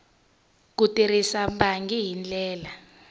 ku tirhisa bangi hi ndlela